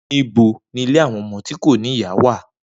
Nibo ni ile awọn ọmọ ti ko ni iya wa?